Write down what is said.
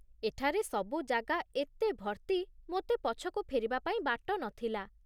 ଏଠାରେ ସବୁ ଜାଗା ଏତେ ଭର୍ତ୍ତି, ମୋତେ ପଛକୁ ଫେରିବାପାଇଁ ବାଟ ନଥିଲା